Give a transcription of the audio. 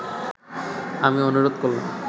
আমি অনুরোধ করলাম